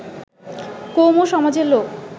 কৌম সমাজের লোক